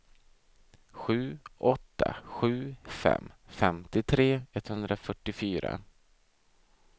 sju åtta sju fem femtiotre etthundrafyrtiofyra